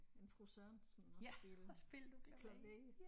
En fru Sørensen og spillede klaver